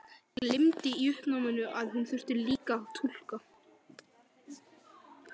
Gleymdi í uppnáminu að hún þurfti líka að túlka.